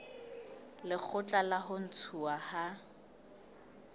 lekgotla la ho ntshuwa ha